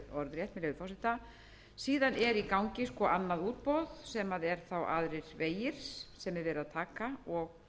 er í gangi annað útboð sem eru þá aðrir vegir sem er verið að taka og